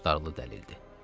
Çox tutarlı dəlildir.